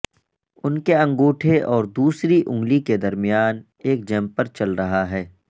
ان کے انگوٹھے اور دوسری انگلی کے درمیان ایک جمپر چل رہا ہے